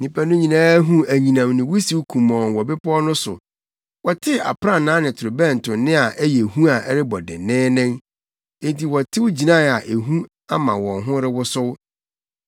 Nnipa no nyinaa huu anyinam ne wusiw kumɔnn wɔ bepɔw no so. Wɔtee aprannaa ne torobɛnto nne a ɛyɛ hu a ɛrebɔ denneennen. Enti wɔtew gyinae a ehu ama wɔn ho rewosow.